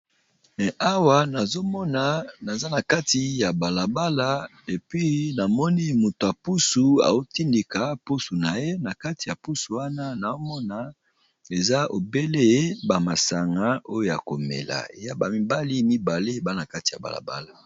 Awa nazomona naza na kati ya balabala epi namoni moto ya pusu aotindika pusu na ye na kati ya pusu wana naomona eza obele ba masanga oyo ya komela ya ba mibali mibale ba na kati ya balabala.